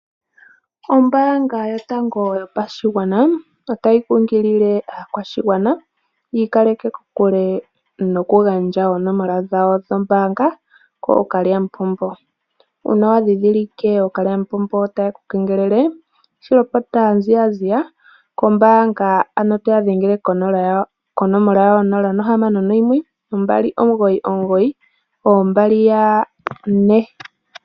Ombaanga yotango yopashigwana otayi kunkilile aakwashigwana yi ikaleke kokule noku gandja oonomola dhawo dhoombaanga koo kalyamupombo. Uuna wa ndhindhilike ookalyamupombo taye ku kengelele shilopota mbala kombaanga ano toya dhengele ko 061 2992222